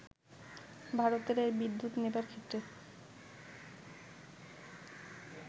ভারতের এই বিদ্যুৎ নেবার ক্ষেত্রে